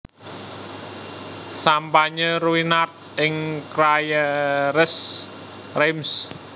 Sampanye Ruinart ing Crayères Reims